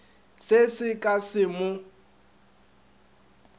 se se ke sa mo